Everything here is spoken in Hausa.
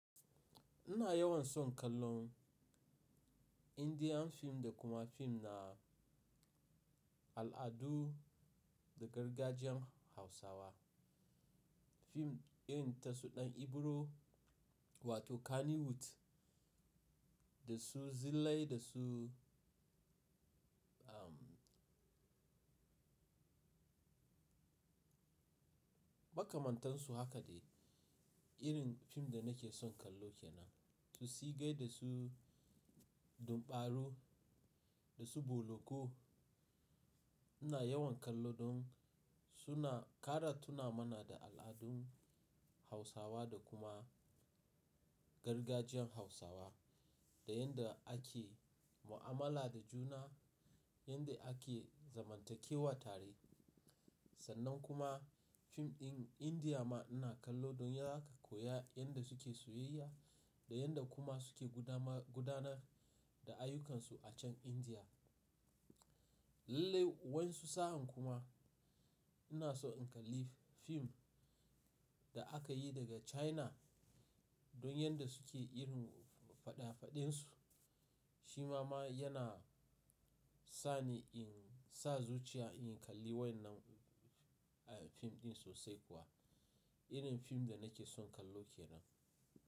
Ina yawan son kallon Indian fim da kuma fim na al'adu da gargajiyan Hausawa. Fim irin ta su Ɗan Ibro wato Kannywood da su Zillai da su, ahmm makamantansu haka de irin fim da nake son kallo kenan. To sigai da su dumɓaru da su Boloko ina yawan kallo don suna ƙara tuna mana da al'adun Hausawa da kuma gargajiyan Hausawa da yanda ake mu'amala da juna, yanda ake zamantakewa tare. Sannan kuma fim ɗin Indiya ma ina kallo don yaka koya yanda suke soyayya da yanda kuma suke gudanar da ayyukansu a can Indiya. Lallai wansu sa'an kuma ina so in kalli fim da aka yi daga China don yanda suke irin faɗa faɗinsu. Shi ma yana sani in sa zuciya in kalli wannan fim ɗin sosai kuwa. Irin fim da nake son kallo kenan.